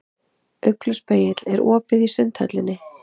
Ugluspegill, er opið í Sundhöllinni?